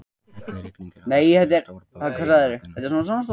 Hellirigning er á Eskifirði og stórir pollar eru á vellinum.